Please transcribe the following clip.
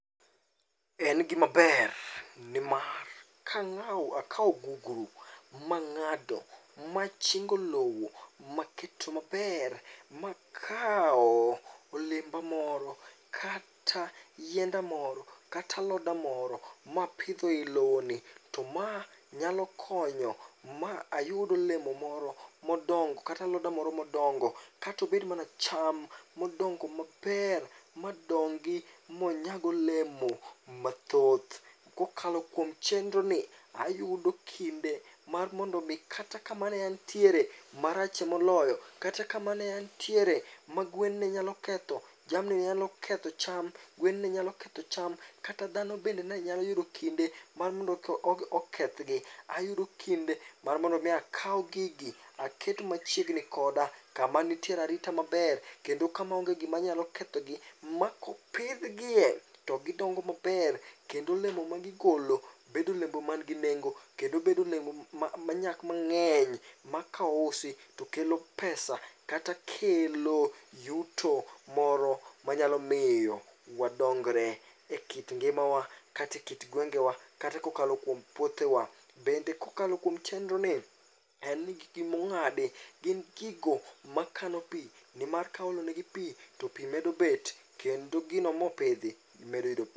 En gimaber nimar kang'awo akawo gugru mang'ado machingo lowo maketo maber, makawo olemba moro, kata yienda moro, kata aloda moro mapidho e lowo ni. To ma nyalo konyo ma ayud olemo moro modongo kata aloda moro modongo. Katobed mana cham modongo maber, madongi monyag olemo mathoth. Kokalo kuom chendro ni, ayudo kinde mar mondo mi kata kama neantiere, marache moloyo. Kata kama ne antiere, magwen ne nyalo ketho, jamni nyalo ketho cham, gwen nenyalo ketho cham kata dhano bende ne nyalo yudo kinde mar mondo okethgi. Ayudo kinde mar mondomi akaw gigi aket machiegni koda, kama nitiere arita maber. Kendo kama onge gima nyalo kethogi, ma kopidhgie to gidongo maber. Kendo olemo magigolo bedo olemo man gi nengo, kendo bedo olemo manyak mang'eny. Ma ka ousi to kelo pesa kata kelo yuto moro manyalo miyo wadongre e kit ngimawa, kate kit gwengewa, kata kokalo kuom puothewa. Bende kokalo kuom chendro ni, en ni gigi mong'adi gin gigo makano pi. Nimar kaolonegi pi to pi medo bet, kendo gino mopidhi medo yudo p.